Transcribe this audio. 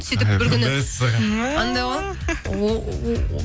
сөйтіп бір күні мәссаған мә анандай ғой